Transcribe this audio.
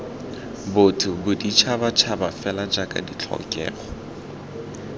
botho boditšhabatšhaba fela jaaka ditlhokego